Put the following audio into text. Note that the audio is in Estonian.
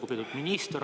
Lugupeetud minister!